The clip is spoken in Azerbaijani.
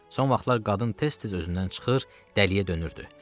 Son vaxtlar qadın tez-tez özündən çıxır, dəliyə dönürdü.